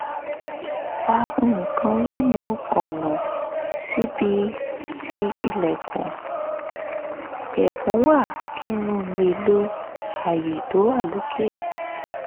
fa nǹkan lẹ́nu ọ̀nà síbi tí ilẹ̀kùn wà kí n lè lo àyè tó wà lókè